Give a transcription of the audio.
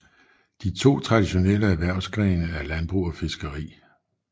De to traditionelle erhvervsgrene er landbrug og fiskeri